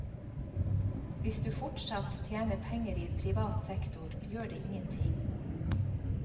Hvis du fortsatt tjener penger i privat sektor, gjør det ingenting.